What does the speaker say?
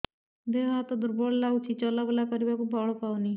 ଦେହ ହାତ ଦୁର୍ବଳ ଲାଗୁଛି ଚଲାବୁଲା କରିବାକୁ ବଳ ପାଉନି